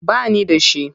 Ba ni da shi.